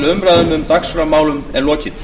umræðum um dagskrármálin er lokið